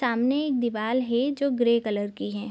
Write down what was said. सामने एक दीवाल हे जो की ग्रे कलर की हैं।